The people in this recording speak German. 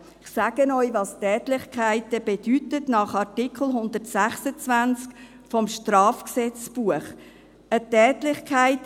Ich sage Ihnen, was Tätlichkeiten nach Artikel 126 des Schweizerischen Strafgesetzbuches (StGB) bedeuten: